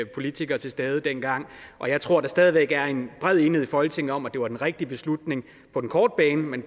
politikere til stede dengang og jeg tror der stadig væk er en bred enighed i folketinget om at det var den rigtige beslutning på den korte bane men